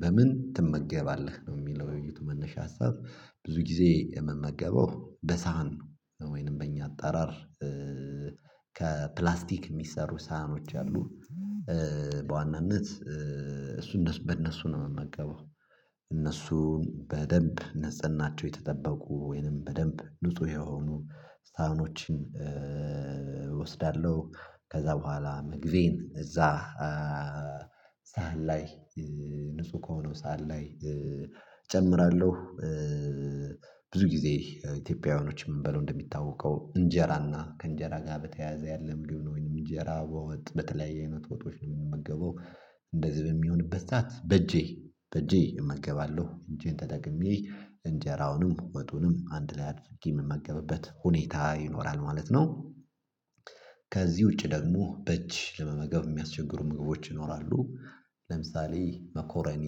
በምን ትመገባለህ ነው? የሚለው የውይይቱ መነሻ ሀሳብ። ብዙ ጊዜ የምመገበው በሳሀን ወይንም በእኛ አጠራር ከፕላስቲክ የሚሰሩ ሳህኖች አሉ። በዋናነት እሱን በእነሱ ነው የምመገበው። እነሱን በደንብ ነጸናቸው የተጠበቁ ወይንም በደንብ ንጹህ የሆኑ ሳህኖችን እወስዳለሁ። ከዛ በኋላ መግቢን እዛ ሳህን ላይ ንጹህ ከሆነው ሰሃን ላይ እጨምራለሁ። ብዙ ጊዜ ኢትዮጵያውያኖች የምንበላው እንደሚታወቀው እንጀራና ከእንጀራ ጋር በተያያዘ ያለ ምግብ ወይንም እንጀራ በወጥ በተለያየ አይነት ወጦች ነው የምንመገበው። እንደዚህ በሚሆንበት ሳዓት በእጄ በእጄ እመገባለሁ እጄን ተደግሜ እንጀራውንም ወጡንም አንድ ላይ አድፍጌ የምመገብበት ሁኔታ ይኖራል ማለት ነው። ከዚህ ውጪ ደግሞ በእጅ ለመመገብ የሚያስቸግሩ ምግቦች ይኖራሉ። ለምሳሌ መኮረኒ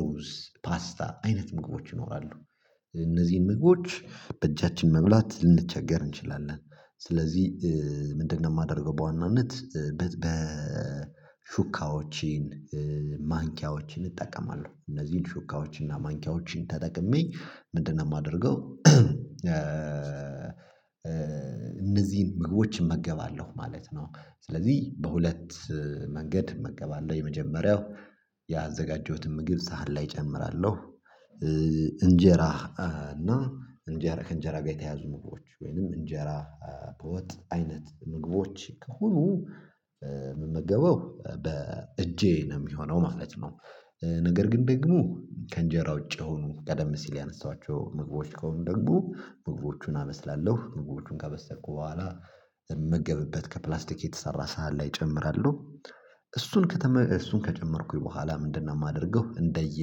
ሩዝ ፓስታ አይነት ምግቦች ይኖራሉ። እነዚህን ምግቦች በእጃችን መብላት ልንቸገር እንችላለን። ስለዚህ ምንድነው የማደርገው በዋናነት በሹካዎችን ማንኪያዎችን እጠቀማለሁ። እነዚህን ሹካዎች እና ማንኪያዎችን ተጠቅሜ ምንድነው የማደርገው እነዚህን ምግቦች እመገባለሁ ማለት ነው። ስለዚህ በሁለት መንገድ እመገባለሁ የመጀመሪያው ያዘጋጀሁትን ምግብ ሳህን ላይ እጨምራለሁ። እንጀራ እና እንጀራ ከእንጀራ ጋር የተያዙ ምግቦች ወይንም እንጀራ በወጥ አይነት ምግቦች ከሁሉ የምመገበው በእጄ ነው የሚሆነው ማለት ነው። ነገር ግን ደግሞ ከእንጀራ ውጪ የሆኑ ቀደም ሲል ያነሳኋቸው ምግቦች ከሆኑ ደግሞ ምግቦቹን አበስላለሁ ምግቦቹን ካበሰልኩ በኋላ የምመገብበት ከፕላስቲክ የተሰራ ሰሃት ላይ እጨምራለሁ። እሱን ከጨመርኩኝ በኋላ ምንድነው? የማደርገው እንደየ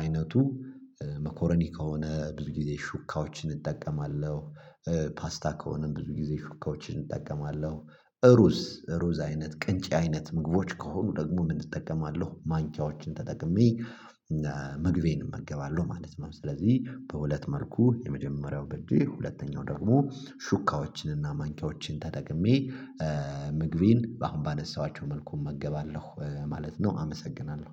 አይነቱ መኮረዲ ከሆነ ብዙ ጊዜ ሹካዎችን እጠቀማለሁ። ፓስታ ከሆነም ብዙ ጊዜ ሹካዎችን እጠቀማለሁ። ሩዝ ሩዝ አይነት ቅንጨ አይነት ምግቦች ከሆኑ ደግሞ ምን? እጠቀማለሁ ማንቻዎችን ተጠቅሜ እና ምግቤን እመገባለሁ ማለት ነው። ስለዚህ በሁለት መልኩ የመጀመሪያው በጄ ሁለተኛው ደግሞ ሹካዎችን ማንካዎችን ተጠቅሜ ምግቢን አሁን ባነሳኋቸው መልኩ እመገባለሁ ማለት ነው። አመሰግናለሁ።